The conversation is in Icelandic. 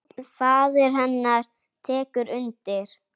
Faðir hennar tekur undir.